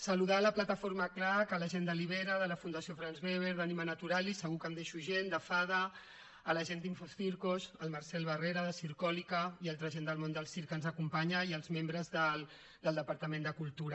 saludar la plataforma clac la gent de libera de la fundació franz weber d’animanaturalis segur que em deixo gent de faada la gent d’infocircos el marcel barrera de zirkolikacirc que ens acompanya i als membres del departament de cultura